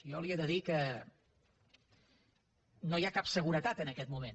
jo li he de dir que no hi ha cap seguretat en aquest moment